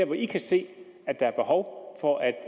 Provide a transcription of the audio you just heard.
hvor i kan se at der er behov for at